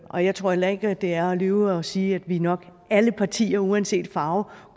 og jeg tror heller ikke at det er at lyve at sige at vi nok alle partier uanset farve